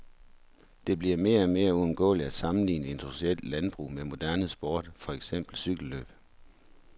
Det bliver mere og mere uundgåeligt at sammenligne industrielt landbrug med moderne sport, for eksempel cykellløb.